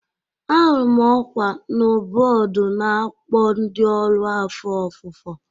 Ahụrụ m ọkwa na bọọdụ na-akpọ ndị ọrụ afọ ofufo